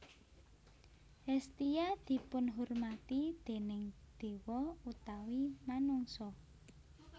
Hestia dipunhormati déning dewa utawi manungsa